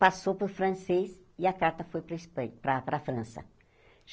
passou para o francês e a carta foi para a Espan para para a França.